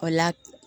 O la